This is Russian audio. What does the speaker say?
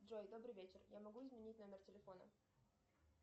джой добрый вечер я могу изменить номер телефона